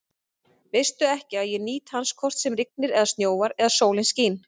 Veistu ekki, að ég nýt hans hvort sem rignir eða snjóar eða sólin skín?